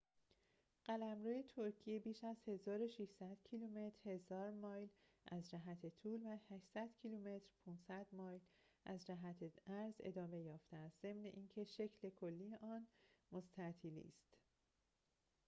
قلمرو ترکیه بیش از 1,600 کیلومتر 1,000 مایل از جهت طول و 800 کیلومتر 500 مایل از جهت عرض ادامه یافته است، ضمن اینکه شکل کلی آن مستطیلی است